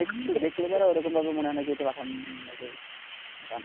দেখলে পরে এরকমভাবে মনে হয় না যে এটা পাঠান মুভির গান।